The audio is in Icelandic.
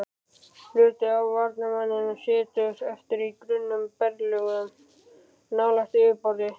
Hluti af varmanum situr eftir í grunnum berglögum nálægt yfirborði.